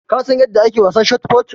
Ka San yanda ake wasan shotput?